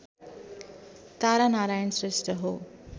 तारानारायण श्रेष्ठ हो